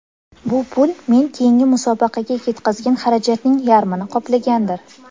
Bu pul men keyingi musobaqaga ketgazgan xarajatning yarmini qoplagandir.